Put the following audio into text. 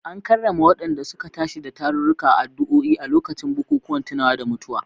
An karrama wadanda suka tashi da tarurruka da addu’o’i a lokacin bukukuwan tunawa da mutuwa.